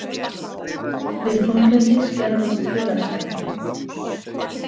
Við þunglyndi skerðist félagshæfni.